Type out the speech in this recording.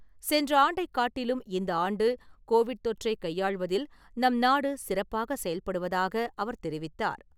சென்ற ஆண்டைக் காட்டிலும் இந்த ஆண்டு கோவிட் தொற்றை கையாள்வதில் நம்நாடு, சிறப்பாக செயல்படுவதாக அவர் தெரிவித்தார்.